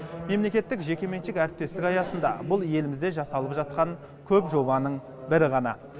мемлекеттік жекеменшік әріптестік аясында бұл елімізде жасалып жатқан көп жобаның бірі ғана